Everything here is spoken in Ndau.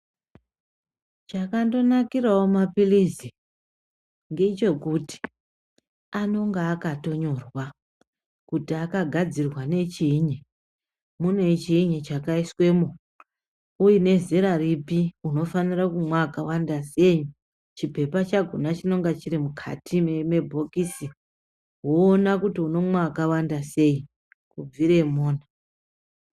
Chakandonakirawo mapirizi ngechekuti anonga akatonyorwa kuti akagadzirwa ngechinyi mune chinyi chakaiswemo uye nezera ripi unofanira kumwa akawanda sei chipepa chakhona chinonga chiri mukati mebhokisi woona kuti unomwa akawanda sei kubvira Mona.